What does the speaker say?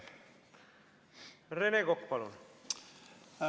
Rene Kokk, palun!